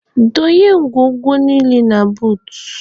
Donye ngwongwo niile a na buut.